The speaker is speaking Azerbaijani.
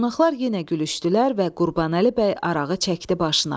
Qonaqlar yenə gülüşdülər və Qurbanəli bəy arağı çəkdi başına.